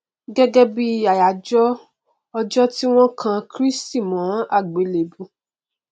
gẹgẹ bí i àyájọ ọjọ tí wọn kan kristi mọn àgbélébùú